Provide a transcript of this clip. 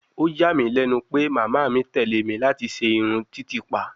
Ó yà mí lẹ́nu pé màmá mi tẹ̀ lé mi láti ṣe irun titipa